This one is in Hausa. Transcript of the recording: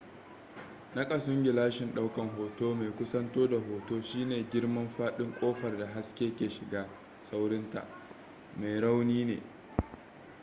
nakasun gilashin daukan hoto mai kusanto da hoto shine girman fadin kofar da haske ke shiga saurinta mai rauni ne